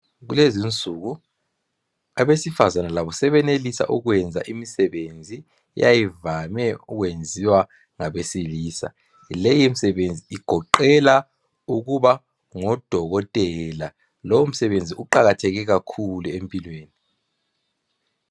Kulezinsuku abesifazana labo sebesenelisa ukwenza imisebenzi eyayivame ukwenziwa ngabesilisa leyi misebenzi igoqela ukuba ngodokotela lo umsebenzi uqakatheke kakhulu empilweni.